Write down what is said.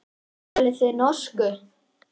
Talið þið norsku.